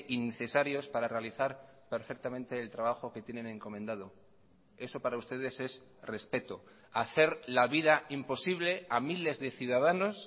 innecesarios para realizar perfectamente el trabajo que tienen encomendado eso para ustedes es respeto hacer la vida imposible a miles de ciudadanos